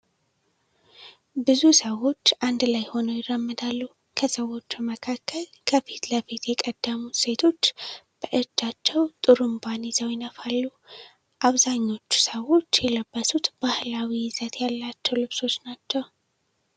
ብዙ ሰዎች አንድ ላይ ሆነው ይራመዳሉ። ከሰዎቹ መካከል ከፊት ለፊት የቀደሙት ሴቶች በእጃቸው ጡሩንባን ይዘው ይነፋሉ። አብዛኞቹ ሰዎች የለበሱት ባህላዊ ይዘት ያላቸውን ልብሶች ነው።